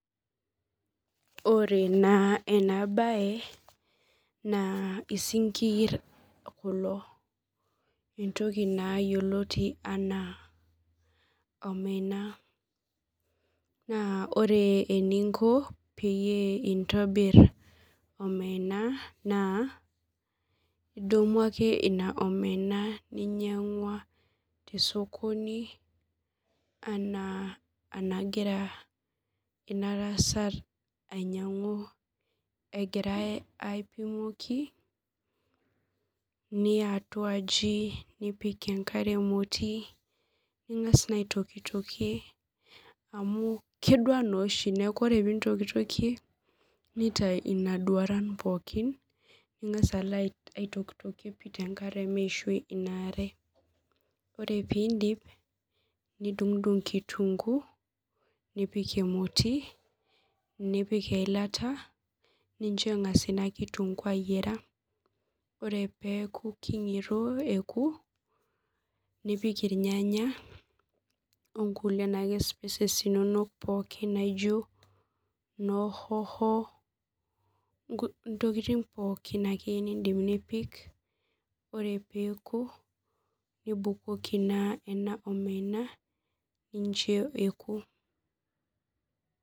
Ore naa ena baye naa esinkir kulo, ntoki naa yeloti anaa omena, naa ore eninko peyie intobirr omena naa idumu ake nenia omena ninyeng'ua te sokoni anaa nagira ina tasat ainyang'u, egirai aipimakai, niya atua ajii, nipik enkare emoti, ningas naa aitokitokie amu kedua naa oshi, naaku kore piintokitokie neitai ina duaran pookin, ningas alo aitokitokie te nkare meishoi inaare, ore piindip nidung'dung' nkitunguu nipik emoti, nipik eilata nincho engas ina nkitunguu aiyara, ore peaku keng'iroo eku nipik ilnyanya onkule naake spices inonok pooki naijo noo hoho, ntokitin pookin ake niindim nipik, ore peeku nibukoki naa ena omena nincho ekuu.